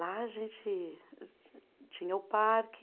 Lá a gente tinha o parque.